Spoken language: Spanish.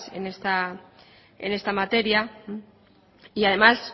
en esta materia y además